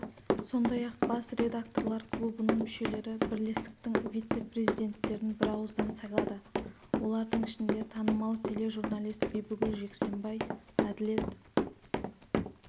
сондай-ақ бас редакторлар клубының мүшелері бірлестіктің вице-президенттерін бірауыздан сайлады олардың ішінде танымал тележурналист бибігүл жексенбай әділет